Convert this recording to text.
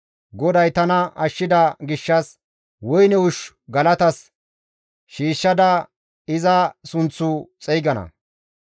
GODAY tana ashshida gishshas woyne ushshu galatas shiishshada iza sunththu xeygana.